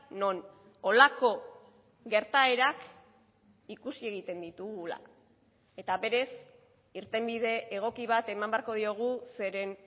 non holako gertaerak ikusi egiten ditugula eta berez irtenbide egoki bat eman beharko diogu zeren